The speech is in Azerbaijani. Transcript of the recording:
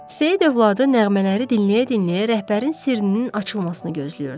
Seyid övladı nəğmələri dinləyə-dinləyə rəhbərin sirrinin açılmasını gözləyirdi.